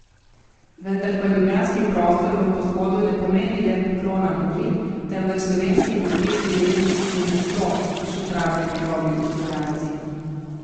Vendar pa ljubljanski prostor v podhodu ne pomeni le poklona Muri, temveč slovenski industrijski dediščini na sploh, še pravijo njegovi ustvarjalci.